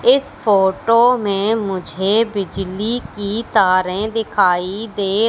इस फोटो में मुझे बिजली की तारें दिखाई दे--